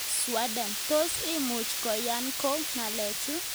"Sweden, tos imuchi koyan ng'o ng'alechu